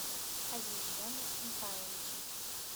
азизжоне михайловиче